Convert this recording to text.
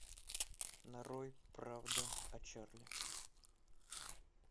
нарой правда о чарли